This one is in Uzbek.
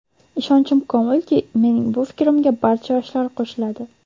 Ishonchim komilki, mening bu fikrimga barcha yoshlar qo‘shiladi.